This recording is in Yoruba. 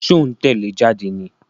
Ṣó ń tẹ́lẹ̀ ẹ jáde ní?